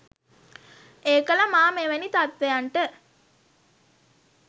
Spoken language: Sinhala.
ඒකල මා මෙවැනි තත්වයන්ට